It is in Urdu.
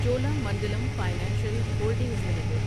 Chola Mandalam financial holdings limited